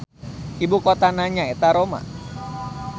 Ibu kotana nyaeta Roma.